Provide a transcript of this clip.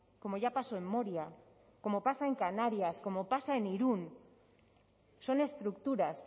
como ya pasó en moria como pasa en canarias como pasa en irun son estructuras